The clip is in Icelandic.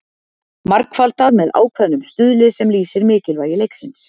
margfaldað með ákveðnum stuðli sem lýsir mikilvægi leiksins